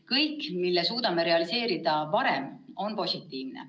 Kõik, mille suudame realiseerida varem, on positiivne.